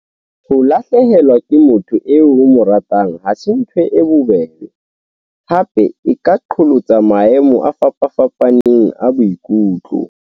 Ho lahlehelwa ke motho eo o mo ratang ha se ntho e bobebe, hape e ka qholotsa maemo a fapafapaneng a boikutlo.